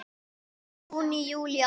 Júní Júlí Ágúst